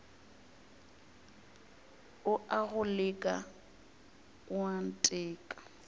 o a go leka oanteka